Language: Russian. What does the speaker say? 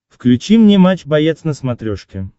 включи мне матч боец на смотрешке